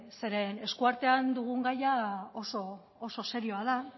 zeren eskuartean dugun gaia oso serioa da